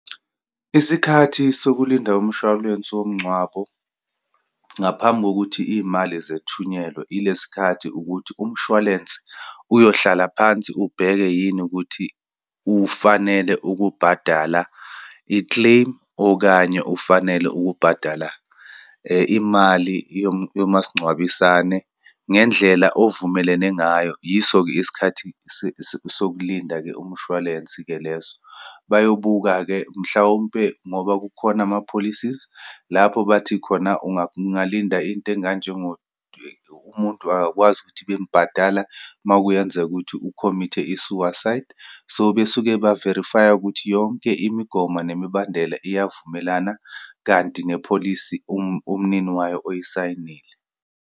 Isikhathi sokulinda umshwalense womngcwabo, ngaphambi kokuthi iyimali zethunyelwe, ilesi khathi ukuthi umshwalense uyohlala phansi, ubheke yini ukuthi ufanele ukubhadala ikleyimu, okanye ufanele ukubhadala imali yomasingcwabisane ngendlela ovumelene ngayo. Yiso-ke isikhathi sokulinda-ke umshwalensi-ke leso. Bayobuka-ke, mhlawumpe ngoba kukhona ama-policies, lapho bathi khona ungalinda into enganjengo umuntu akakwazi ukuthi bembhadala uma kuyenzeka ukuthi u-commit-e i-suicide. So, besuke be-verify-a ukuthi yonke imigomo nemibandela iyavumelana, kanti nepholisi umnini wayo oyisayinile.